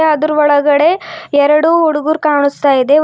ಅದ್ರು ಒಳಗಡೆ ಎರಡು ಹುಡುಗುರ್ ಕಾಣಿಸ್ತಾ ಇದೆ.